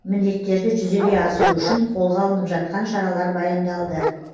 міндеттерді жүзеге асыру үшін қолға алынып жатқан шаралар баяндалды